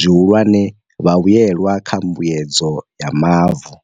zwihulwane, vhavhuelwa kha Mbuedzedzo ya Mavu.